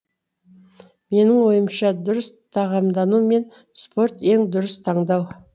менің ойымша дұрыс тағамдану мен спорт ең дұрыс таңдау